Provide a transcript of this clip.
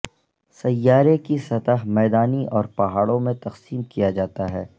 سیارے کی سطح میدانی اور پہاڑوں میں تقسیم کیا جاتا ہے